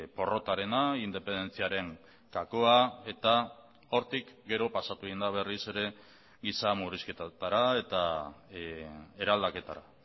porrotarena independentziaren gakoa eta hortik gero pasatu egin da berriz ere giza murrizketetara eta eraldaketara